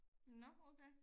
Nå okay